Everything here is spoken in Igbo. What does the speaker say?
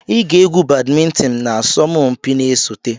Ị ga-egwu badimintin na asọmpi na-esote!